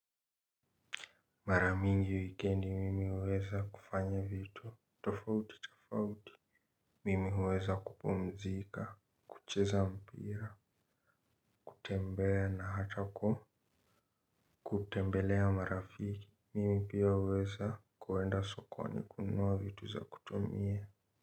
Mara mingi wikendi mimi huweza kufanya vitu tofauti tofauti. Mimi huweza kupumzika, kucheza mpira, kutembea na hata ku kutembelea marafiki. Mimi pia huweza kuenda sokoni kununua vitu za kutumia.